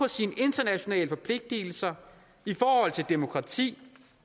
sine internationale forpligtelser i forhold til demokrati